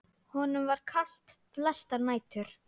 Honum var kalt flestar nætur.